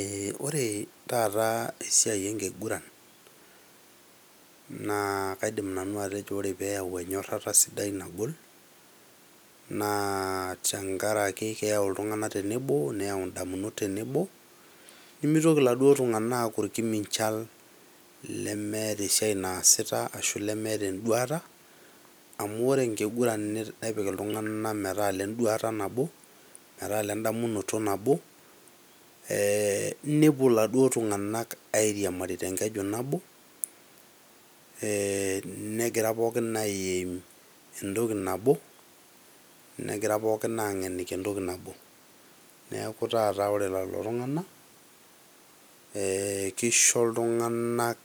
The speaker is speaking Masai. Ee ore taata esiai enkiguran naa kaidim nanu atejo ore peyau naboisho sidai naa tenkaraki neyau naboisho sidai, nayau indamunot tenebo , nimitoki iladuoo tunganak aaku irkimichal lemeeta esiai naasita ashu lemeeta enduata amu ore enkiguran nepik iltunganak metaa ile duata nabo ,metaa ile ndamunoto nabo ee nepuo iladuoo tunganak airimari tenkeju nabo , ee negira pookin a aim entoki nabo, negira pookin ageniki entoki nabo , niaku taata ore lelo tunganaka ,keisho iltunganak